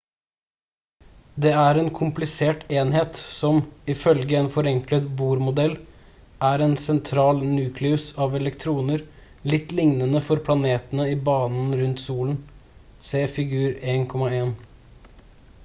det er en komplisert enhet som ifølge en forenklet bohr-modell er en sentral nukleus av elektroner litt lignende for planetene i banen rundt solen se figur 1.1